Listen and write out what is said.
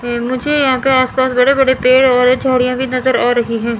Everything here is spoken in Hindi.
मुझे यहां पे आसपास बड़े-बड़े पेड़ वगैरा छोरियां भी नज़र आ रही हैं।